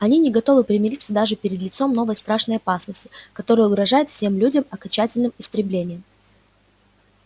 они не готовы примириться даже перед лицом новой страшной опасности которая угрожает всем людям окончательным истреблением